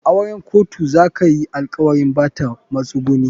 A auren kotu za kayi alkawarin Bata masunguni.